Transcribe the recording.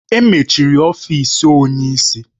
Emechiri ọfịs onye isi.